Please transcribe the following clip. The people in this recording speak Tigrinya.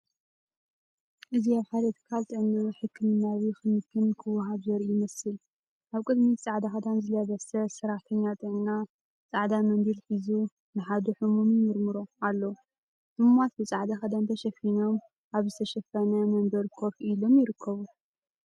እዚ ኣብ ሓደ ትካል ጥዕና ሕክምናዊ ክንክን ክወሃብ ዘርኢ ይመስል። ኣብ ቅድሚት ጻዕዳ ክዳን ዝለበሰ ሰራሕተኛ ጥዕና፡ ጻዕዳ መንዲል ሒዙ፡ ንሓደ ሕሙም ይምርምሮ ኣሎ። ሕሙማት ብጻዕዳ ክዳን ተሸፊኖም ኣብ ዝተሸፈነ መንበር ኮፍ ኢሎም ይርከቡ።